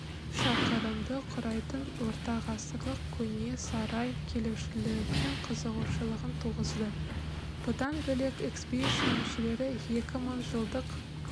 шақырымды құрайтын ортағасырлық көне сарай келушілердің қызығушылығын туғызды бұдан бөлек экспедиция мүшелері екі мың жылдық